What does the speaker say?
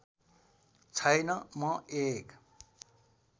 छैन म एक